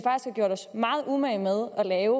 gjort os meget umage med at lave